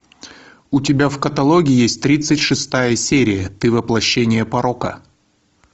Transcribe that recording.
у тебя в каталоге есть тридцать шестая серия ты воплощение порока